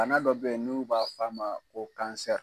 Bana dɔ bɛ yen n'u b'a fɔ a ma ko